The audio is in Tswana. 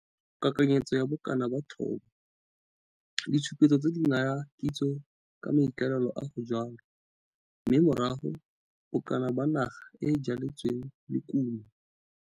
Kakanyetso ya bokana ba thobo - Ditshupetso tse di naya kitso ka maikaelelo a go jwala, mme morago, bokana ba naga e e jwaletsweng le kumo.